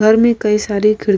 घर मे कई सारे खिड़ --